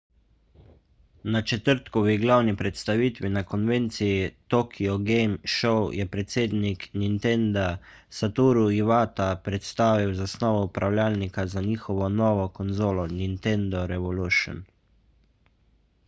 na četrtkovi glavni predstavitvi na konvenciji tokyo game show je predsednik nintenda satoru iwata predstavil zasnovo upravljalnika za njihovo novo konzolo nintendo revolution